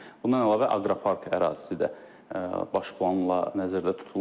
Bundan əlavə aqropark ərazisi də baş planla nəzərdə tutulur.